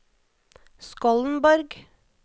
Skollenborg